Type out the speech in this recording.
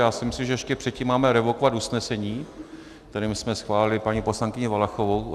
Já si myslím, že ještě předtím máme revokovat usnesení, kterým jsme schválili paní poslankyni Valachovou.